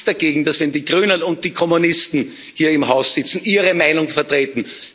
Ich habe nichts dagegen, dass, wenn die Grünen und die Kommunisten hier im Haus sitzen, sie ihre Meinung vertreten.